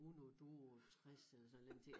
Uno duo tres eller sådan en eller anden ting